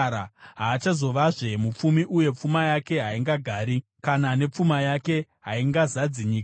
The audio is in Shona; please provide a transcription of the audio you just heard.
Haachazovazve mupfumi uye pfuma yake haingagari, kana nepfuma yake haingazadzi nyika.